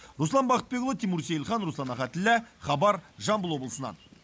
руслан бақытбекұлы тимур сейілхан руслан ахатіллә хабар жамбыл облысынан